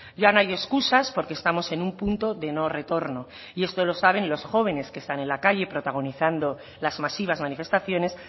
ya no hay escusas porque estamos en un punto de no retorno y esto lo saben los jóvenes que están en las calles protagonizando las masivas manifestaciones